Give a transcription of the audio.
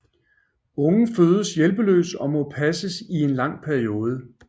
Ungen fødes hjælpeløs og må passes i en lang periode